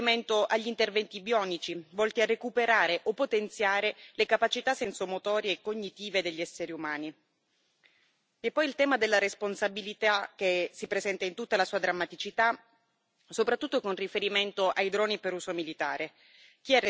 con riferimento agli interventi bionici volti a recuperare o potenziare le capacità sensomotorie e cognitive degli esseri umani, e il tema della responsabilità, che si presenta in tutta la sua drammaticità, soprattutto con riferimento ai droni per uso militare.